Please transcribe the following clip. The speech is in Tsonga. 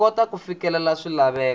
ku kota ku fikelela swilaveko